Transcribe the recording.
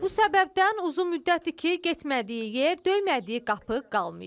Bu səbəbdən uzun müddətdir ki, getmədiyi yer, döymədiyi qapı qalmayıb.